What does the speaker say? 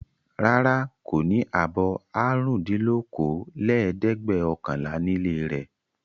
Rárá, kò ní abọ́ àrùndínlókòólẹ́ẹ̀dẹ́gbẹ̀ọ̀kànlá nílé rẹ̀.